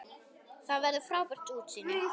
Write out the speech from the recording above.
Þar verður frábært útsýni.